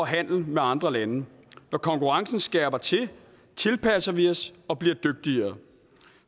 handle med andre lande når konkurrencen skærpes tilpasser vi os og bliver dygtigere